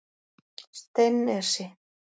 Steinnesi